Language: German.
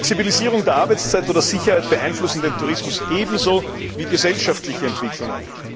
Flexibilisierung der Arbeitszeit oder Sicherheit beeinflussen den Tourismus ebenso wie gesellschaftliche Entwicklungen.